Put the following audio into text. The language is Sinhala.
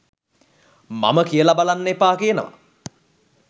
මම කියල බලන්න එපා කියනවා